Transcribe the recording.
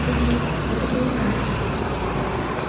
всё было так как и полагается